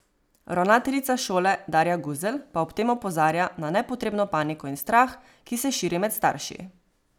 Ravnateljica šole Darja Guzelj pa ob tem opozarja na nepotrebno paniko in strah, ki se širi med starši.